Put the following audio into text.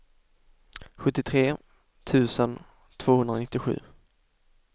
sjuttiotre tusen tvåhundranittiosju